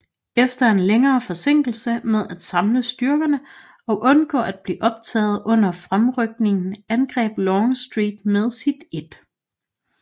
Efter en længere forsinkelse med at samle styrkerne og undgå at blive optaget under fremrykningen angreb Longstreet med sit 1